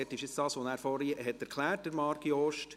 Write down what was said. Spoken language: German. Hier ist das, was Marc Jost vorhin erklärt hat.